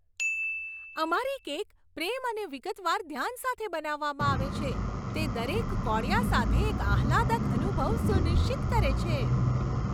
અમારી કેક પ્રેમ અને વિગતવાર ધ્યાન સાથે બનાવવામાં આવે છે, જે દરેક કોળિયા સાથે એક આહલાદક અનુભવ સુનિશ્ચિત કરે છે.